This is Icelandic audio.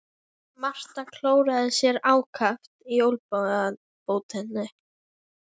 Marta klóraði sér ákaft í olnbogabótinni.